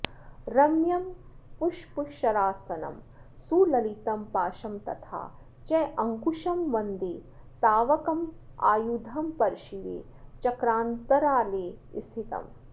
रम्यं पुष्पशरासनं सुललितं पाशं तथा चाङ्कुशं वन्दे तावकमायुधं परशिवे चक्रान्तरालेस्थितम्